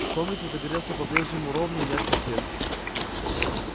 в комнате загорелся по-прежнему ровный и яркий свет